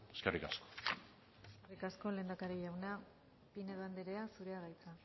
eskerrik asko eskerrik asko lehendakari jauna pinedo andrea zurea da hitza